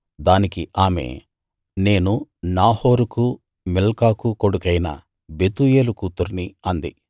దానికి ఆమె నేను నాహోరుకూ మిల్కాకూ కొడుకైన బెతూయేలు కూతుర్ని అంది